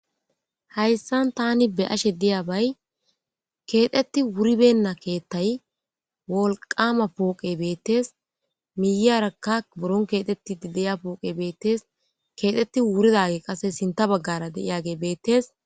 Hayssan thaani be7ashe diyaabay keexeththi wuribeenna keeththay wolqqaama pooqe beeththees; miyyiyaarakka buron keexeththiiddi de7iya pooqe beeththees; keexeththi wuridaagee qasse sinththa baggaara diyaagee beeththees.